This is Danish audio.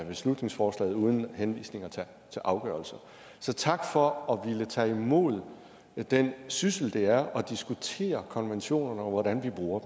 beslutningsforslaget uden henvisninger til afgørelser så tak for at ville tage imod den syssel det er at ville diskutere konventionerne og hvordan vi bruger